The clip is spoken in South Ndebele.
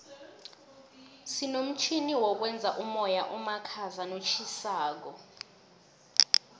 sinomtjhini wokwenza umoya omakhaza notjhisako